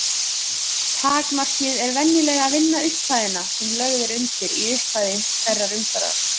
Takmarkið er venjulega að vinna upphæðina sem lögð er undir í upphafi hverrar umferðar.